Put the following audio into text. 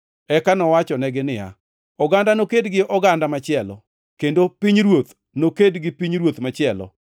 Eka nowachonegi niya, “Oganda noked gi oganda machielo, kendo pinyruoth noked gi pinyruoth machielo.